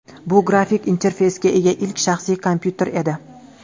Bu grafik interfeysga ega ilk shaxsiy kompyuter edi.